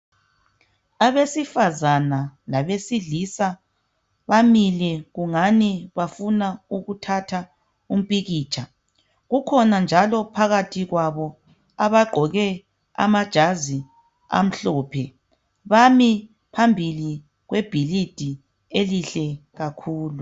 Abesifazana labesilisa bamile kungani bafuna ukuthatha umpikitsha kukhona njalo phakathi kwabo abagqoke amajazi amhlophe bami phambili kwebhilidi elihle kakhulu